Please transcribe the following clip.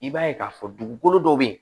I b'a ye k'a fɔ dugukolo dɔ be yen